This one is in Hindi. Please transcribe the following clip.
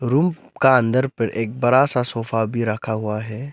रूम का अंदर पर एक बड़ा सा सोफा भी रखा हुआ है।